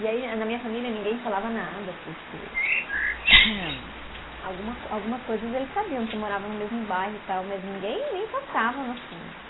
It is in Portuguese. E aí a, na minha família, ninguém falava nada, porque alguma co, algumas coisas eles sabiam, que moravam no mesmo bairro e tal, mas ninguém nem tocava no assunto.